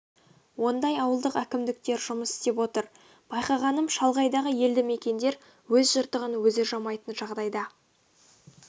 ондай ауылдық әкімдіктер жұмыс істеп отыр байқағаным шалғайдағы елді мекендер өз жыртығын өзі жамайтын жағдайда